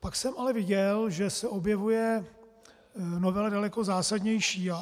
Pak jsem ale viděl, že se objevuje novela daleko zásadnější.